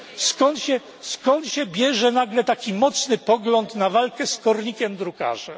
Skąd się bierze nagle taki mocny pogląd na walkę z kornikiem drukarzem?